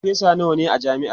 farfesa nawa ne a jami'ar?